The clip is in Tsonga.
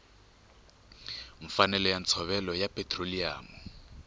mfanelo ya ntshovelo ya petiroliyamu